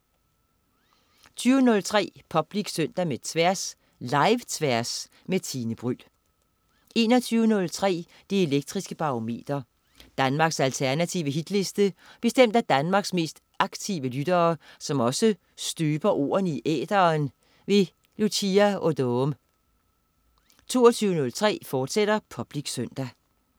20.03 Public Søndag med Tværs. Live-Tværs med Tine Bryld 21.03 Det elektriske Barometer. Danmarks alternative hitliste bestemt af Danmarks mest aktive lyttere, som også støber ordene i æteren. Lucia Odoom 22.03 Public Søndag, fortsat